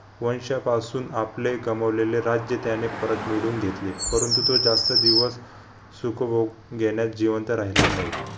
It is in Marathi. वंशपासून आपले गमवलेले राज्य त्याने परत मिडवून घेतले परंतु तो जास्त दिवस सुखभोग घेण्यास जिवंत राहिला नयी